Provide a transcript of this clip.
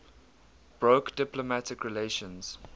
broke diplomatic relations